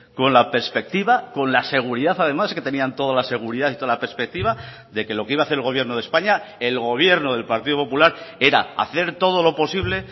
con la perspectiva con la seguridad además que tenían toda la seguridad y toda la perspectiva de que lo que iba a hacer el gobierno de españa el gobierno del partido popular era hacer todo lo posible